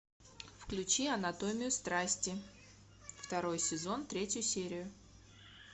включи анатомию страсти второй сезон третью серию